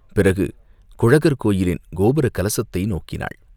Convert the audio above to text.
பிறகு குழகர் கோயிலின் கோபுரகலசத்தை நோக்கினாள்.